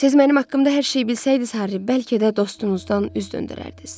Siz mənim haqqımda hər şeyi bilsəydiniz, Harri, bəlkə də dostunuzdan üz döndərərdiniz.